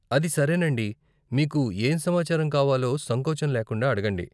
అది సరేనండి, మీకు ఏ సమాచారం కావాలో సంకోచం లేకుండా అడగండి.